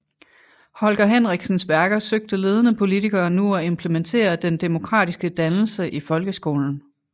Holger Henriksens værker søgte ledende politikere nu at implementere den demokratiske dannelse i folkeskolen